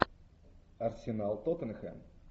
арсенал тоттенхэм